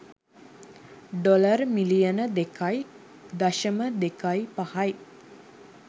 dollar මිලියන දෙකයි දශම දෙකයි පහයි